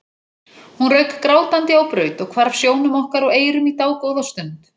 Hún rauk grátandi á braut og hvarf sjónum okkar og eyrum í dágóða stund.